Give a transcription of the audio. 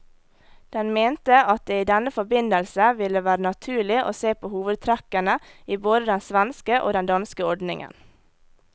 Den mente at det i denne forbindelse ville være naturlig å se på hovedtrekkene i både den svenske og den danske ordningen.